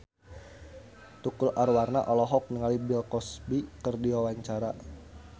Tukul Arwana olohok ningali Bill Cosby keur diwawancara